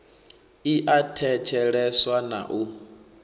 i a thetsheleswa na u